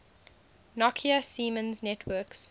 nokia siemens networks